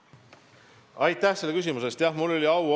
Aitäh selle küsimuse eest!